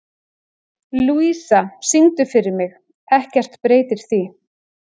Lúísa, syngdu fyrir mig „Ekkert breytir því“.